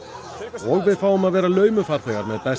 og við fáum að vera laumufarþegar með besta